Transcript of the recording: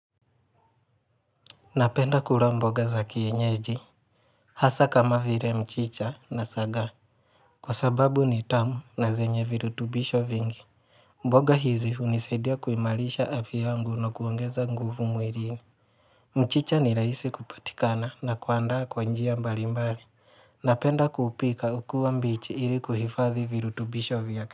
Napenda kula mboga za kienyeji Hasa kama vile mchicha na sagaa Kwa sababu ni tamu na zenye virutubisho vingi mboga hizi hunisaidia kuimarisha afya yangu na kuongeza nguvu mwilini mchicha ni rahisi kupatikana na kuandaa kwa njia mbali mbali Napenda kuupika ukiwa mbichi ili kuhifadhi virutubisho vyake.